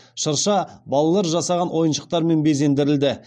шырша балалар жасаған ойыншықтармен безендірілді